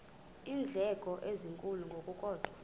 iindleko ezinkulu ngokukodwa